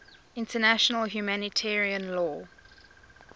international humanitarian law